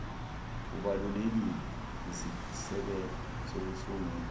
ubalulekile nesisekelo sokusungula